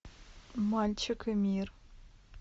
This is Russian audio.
мальчик и мир